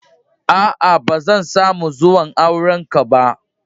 Aa, ba zan samu zuwan auren ka ba.